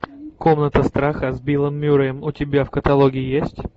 комната страха с биллом мюрреем у тебя в каталоге есть